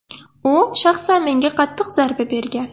U shaxsan menga qattiq zarba bergan.